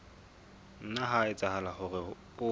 nna ha etsahala hore o